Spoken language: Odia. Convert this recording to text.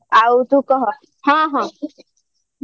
ଆଉ ତୁ କହ ହଁ ହଁ